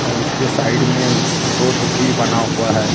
औड़ उसके साईड में रोड हो भी बना हुआ हैं।